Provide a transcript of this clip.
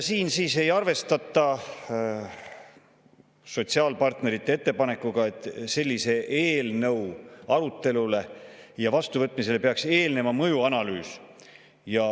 Siin ei arvestata sotsiaalpartnerite ettepanekuga, et sellise eelnõu arutelule ja vastuvõtmisele peab eelnema mõjuanalüüs.